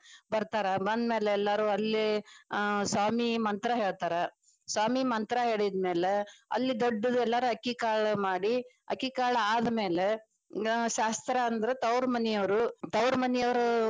ಬರ್ತಾರ ಬಂದ ಮ್ಯಾಲ ಎಲ್ಲಾರು ಅಲ್ಲಿ ಅಹ ಸ್ವಾಮಿ ಮಂತ್ರ ಹೇಳ್ತಾರ್ ಸ್ವಾಮಿ ಮಂತ್ರ ಹೇಳಿದ ಮ್ಯಾಲೆ ಅಲ್ಲಿ ದೊಡ್ಡದ ಎಲ್ಲರೂ ಅಕ್ಕಿಕಾಳ ಮಾಡಿ ಅಕ್ಕಿಕಾಳ ಅದ್ಮ್ಯಾಲೆ ಶಾಸ್ತ್ರಾ ಅಂದ್ರ ತವರು ಮನೀಯವರು ತವರು ಮನಿಯವರು.